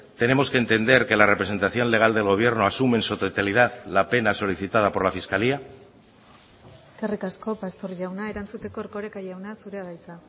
tenemos que entender que la representación legal del gobierno asume en su totalidad la pena solicitada por la fiscalía eskerrik asko pastor jauna erantzuteko erkoreka jauna zurea da hitza